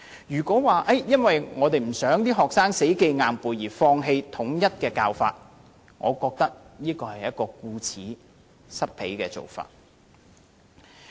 如果說，因為我們不希望學生死記硬背而放棄統一教法，我認為是顧此失彼。